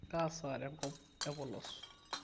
kaa saa tenkop e polos